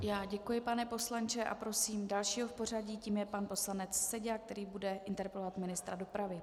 Já děkuji, pane poslanče, a prosím dalšího v pořadí, tím je pan poslanec Seďa, který bude interpelovat ministra dopravy.